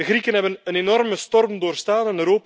De Grieken hebben een enorme storm doorstaan.